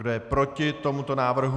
Kdo je proti tomuto návrhu?